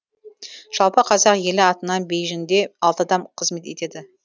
жалпы қазақ елі атынан бейжіңде алты адам қызмет етеді